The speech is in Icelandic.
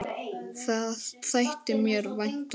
Það þætti mér vænt um